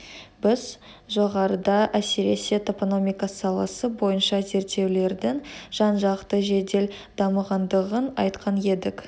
біз жоғарыда әсіресе топономика саласы бойынша зерттеулердің жанжақты жедел дамығандығын айтқан едік